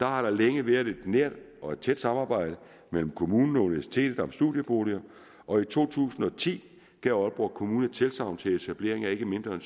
har der længe været et nært og tæt samarbejde mellem kommunen og universitetet om studieboliger og i to tusind og ti gav aalborg kommune tilsagn til etablering af ikke mindre